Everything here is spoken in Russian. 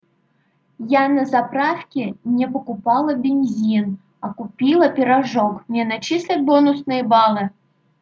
я на заправке не покупала бензин а купила пирожок мне начислят бонусные баллы